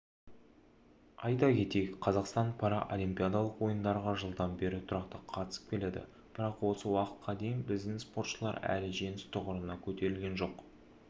айта кетейік қазақстан паралимпиадалық ойындарға жылдан бері тұрақты қатысып келеді бірақ осы уақытқа дейін біздің спортшылар әлі жеңіс тұғырына көтерілген жоқ